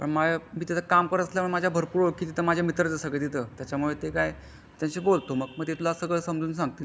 पण मा मी तिथे काम करत असल्या मुळे भरपूर माझा ओळखीचा माझे मित्राचा आहे सगळे तिथं त्याच्याशी बोलतो मग ते तुला सगळं समझून सांगतील